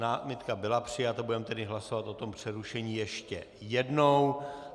Námitka byla přijata, budeme tedy hlasovat o tom přerušení ještě jednou.